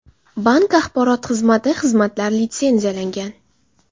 Bank axborot xizmati Xizmatlar litsenziyalangan.